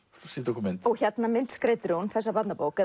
sýndu okkur mynd hérna myndskreytir hún þessa barnabók